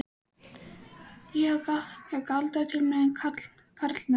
Ég hef galdrað til mín karlmenn.